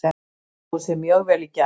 Hann stóð sig mjög vel í gær.